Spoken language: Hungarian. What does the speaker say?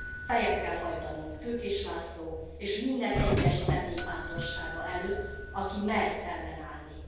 Fejet kell hajtanunk Tőkés László, és minden egyes személy bátorsága előtt, aki mert ellenállni.